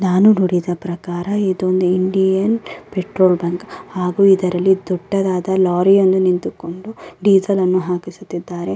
ನಾನು ನೋಡಿದ ಪ್ರಕಾರ ಇದೊಂದು ಇಂಡಿಯನ್ ಪೆಟ್ರೋಲ್ ಬಂಕ್ ಹಾಗು ಇದರಲ್ಲಿ ದೊಡ್ಡದಾದ ಲೋರಿ ಯನ್ನು ನಿಂತುಕೊಂಡು ಡೀಸೆಲ್ ನ್ನು ಹಾಕಿಸುತ್ತಿದ್ದಾರೆ.